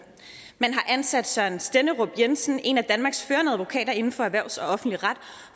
man har ansat søren stenderup jensen en af danmarks førende advokater inden for erhvervsret og offentlig ret